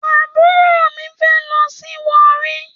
Àbúrò mi fé lọ sí Owerri